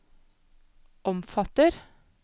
omfatter